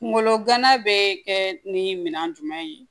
Kungolo gana bɛ kɛ ni minɛn jumɛn ye